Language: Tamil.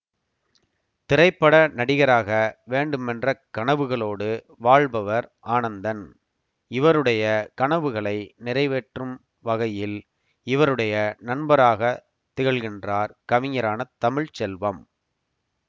திரைப்பட நடிகராக வேண்டுமென்ற கனவுகளோடு வாழ்பவர் ஆனந்தன் இவருடைய கனவுகளை நிறைவேற்றும் வகையில் இவருடைய நண்பராகத் திகழ்கின்றார் கவிஞரான தமிழ்ச்செல்வம்